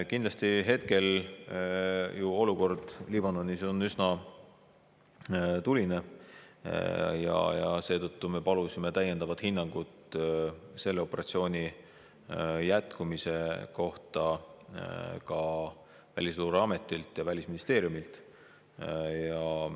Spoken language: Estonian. Kindlasti hetkel on olukord Liibanonis üsna tuline ja seetõttu me palusime täiendavat hinnangut selle operatsiooni jätkumise kohta ka Välisluureametilt ja Välisministeeriumilt.